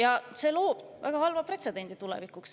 Aga see loob tulevikuks väga halva pretsedendi.